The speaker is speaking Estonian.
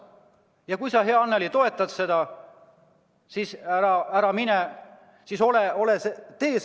Ja kui sa, hea Annely, toetad seda, siis hääleta poolt.